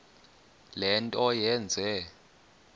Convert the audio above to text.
le nto yenze